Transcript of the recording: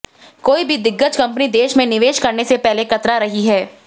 कोई भी दिग्गज कंपनी देश में निवेश करने से कतरा रही है